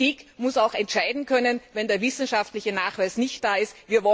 Die Politik muss auch entscheiden können, wenn der wissenschaftliche Nachweis nicht da ist.